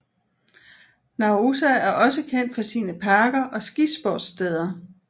Naousa er også kendt for sine parker og skisportssteder